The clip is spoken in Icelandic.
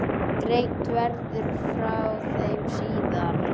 Greint verði frá þeim síðar.